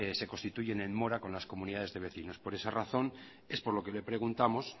se constituyen en mora con las comunidades de vecinos por esa razón es por la que le preguntamos